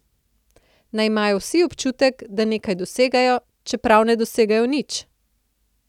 Naj imajo vsi občutek, da nekaj dosegajo, čeprav ne dosegajo nič.